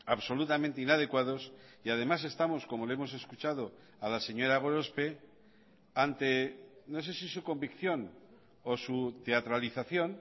absolutamente inadecuados y además estamos como le hemos escuchado a la señora gorospe ante no sé si su convicción o su teatralización